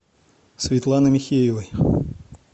светланы михеевой